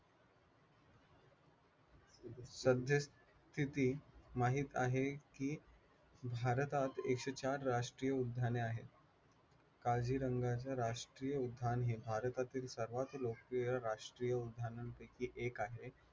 सध्या स्थिती माहित आहे कि भारतात एकशे चार राष्ट्रीय उद्याने आहेत. काझीरंगा राष्ट्रीय उद्यान हे भारतातील सर्वात लोकप्रिय राष्ट्रीय उद्यानांपैकी एक आहे